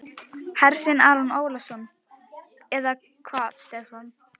Hersir Aron Ólafsson: Eða hvað Stefán?